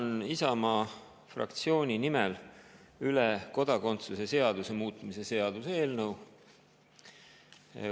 Annan Isamaa fraktsiooni nimel üle kodakondsuse seaduse muutmise seaduse eelnõu.